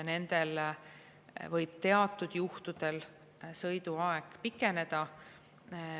Nendel võib teatud juhtudel sõiduaeg pikeneda.